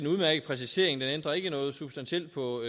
udmærket præcisering den ændrer ikke noget substantielt på